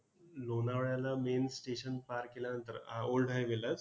लोणावळ्याला main station पार केल्यानंतर अं old highway लाच